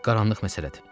Qaranlıq məsələdir.